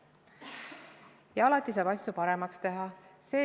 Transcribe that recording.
Ja alati saab asju paremaks teha.